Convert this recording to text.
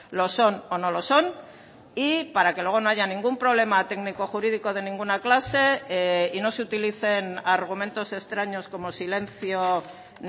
lo son o no lo son y para que luego no haya ningún problema técnico jurídico de ninguna clase y no se utilicen argumentos extraños como silencio